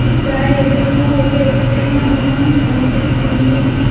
ఇక్కడ ఎదురుగా ఒక ఎత్తైన భవనం కనిపిస్తుంది.